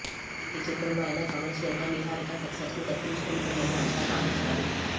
ఈ చిత్రంతో అయినా కమర్షియల్గా నిహారిక సక్సెస్ను దక్కించుకుంటుందని అంతా భావించారు